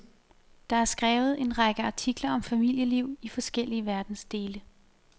Der er skrevet en række artikler om familieliv i forskellige verdensdele.